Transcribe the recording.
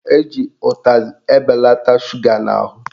Eji utazị ebelata shuga n'ahụ